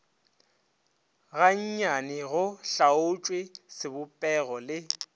gannyane go hlaotšwe sebopego le